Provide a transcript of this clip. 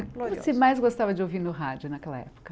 E como você mais gostava de ouvir no rádio naquela época?